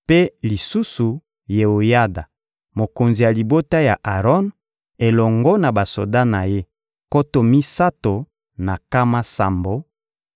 mpe lisusu Yeoyada, mokonzi ya libota ya Aron, elongo na basoda na ye nkoto misato na nkama sambo,